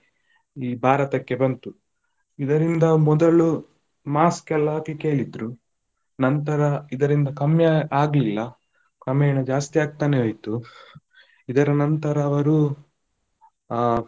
ಈ ಭಾರತಕ್ಕೆ ಬಂತು, ಇದರಿಂದ ಮೊದಲು mask ಎಲ್ಲ ಹಾಕ್ಲಿಕ್ಕೆ ಹೇಳಿದ್ರು. ನಂತರ ಇದರಿಂದ ಕಮ್ಮಿ ಆ~ ಆಗ್ಲಿಲ್ಲ ಕ್ರಮೇಣ ಜಾಸ್ತಿ ಆಗ್ತಾನೇ ಹೋಯ್ತು, ಇದರ ನಂತರ ಅವರು ಆ.